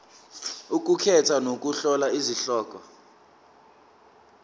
ukukhetha nokuhlola izihloko